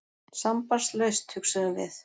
Sambandslaust, hugsuðum við.